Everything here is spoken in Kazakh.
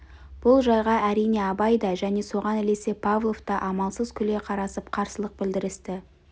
бұл жайға әрине абай да және соған ілесе павлов та амалсыз күле қарасып қарсылық білдірісті